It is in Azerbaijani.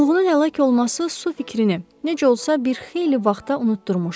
Mılğının həlak olması su fikrini necə olsa bir xeyli vaxta unutdurmuşdu.